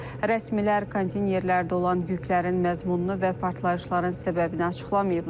Rəsmilər konteynerlərdə olan yüklərin məzmununu və partlayışların səbəbini açıqlamayıblar.